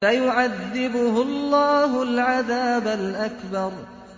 فَيُعَذِّبُهُ اللَّهُ الْعَذَابَ الْأَكْبَرَ